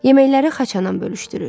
Yeməkləri xaçanam bölüşdürür.